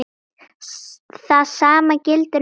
Það sama gilti um fólk.